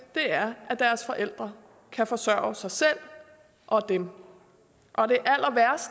er at deres forældre kan forsørge sig selv og dem og